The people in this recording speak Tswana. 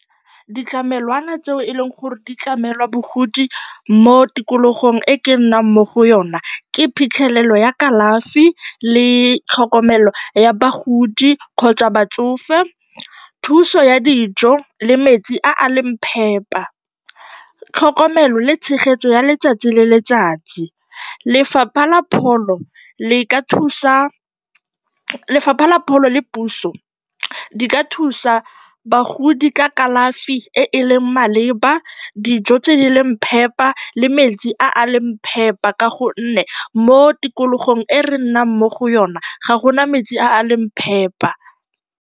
Ditlamelwana tseo e leng gore di tlamela bagodi mo tikologong e ke nnang mo go yona ke phitlhelelo ya kalafi le tlhokomelo ya bagodi kgotsa batsofe, thuso ya dijo le metsi a a leng phepa, tlhokomelo le tshegetso ya letsatsi le letsatsi. Lefapha la pholo le puso di ka thusa bagodi ka kalafi e e leng maleba, dijo tse di leng phepa le metsi a a leng phepa ka gonne mo tikologong e re nnang mo go yona ga go na metsi a a leng phepa.